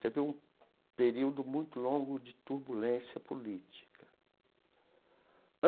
Teve um período muito longo de turbulência política.